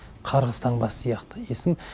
қарғыс таңбасы сияқты есім